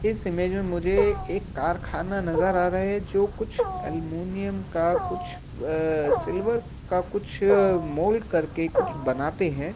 इस इमेज में मुझे एक कारखाना नज़र आ रहा है जो कुछ एलुमिनियम का कुछ अ-अ-अ सिल्वर का कुछ मोल्ड करके कुछ बनाते हैं ।